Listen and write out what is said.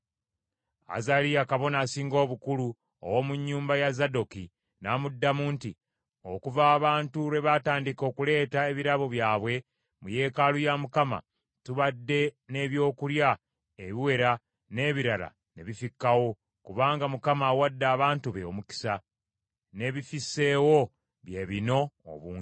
Azaliya kabona asinga obukulu ow’omu nnyumba ya Zadooki n’amuddamu nti, “Okuva abantu lwe baatandika okuleeta ebirabo byabwe mu yeekaalu ya Mukama , tubadde n’ebyokulya ebiwera n’ebirala ne bifikkawo, kubanga Mukama awadde abantu be omukisa, n’ebifisseewo bye bino obungi.”